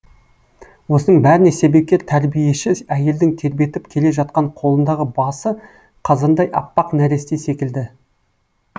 осының бәріне себепкер тәрбиеші әйелдің тербетіп келе жатқан қолындағы басы қазандай аппақ нәресте секілді